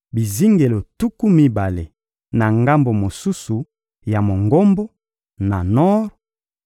bizingelo tuku mibale na ngambo mosusu ya Mongombo, na nor,